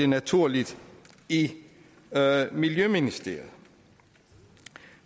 naturligt i miljøministeriet